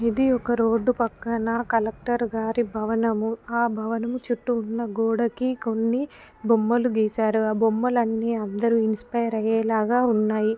ఇది ఒక రోడ్డు పక్కన కలెక్టర్ గారి భవనము ఆ భవనము చుట్టూ ఉన్న గోడకి కొన్ని బొమ్మలు గీశారు ఆ బొమ్మలన్నీ అందరూ ఇన్స్పైర్ అయ్యేలాగా ఉన్నాయి.